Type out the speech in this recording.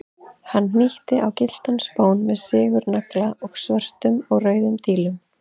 Hann hnýtti á gylltan spón með sigurnagla og svörtum og rauðum dílum.